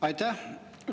Aitäh!